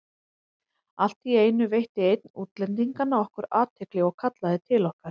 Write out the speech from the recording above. Allt í einu veitti einn útlendinganna okkur athygli og kallaði til okkar.